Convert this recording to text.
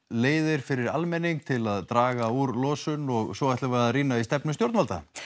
leiðir fyrir almenning til að draga úr losun og svo ætlum við að rýna í stefnu stjórnvalda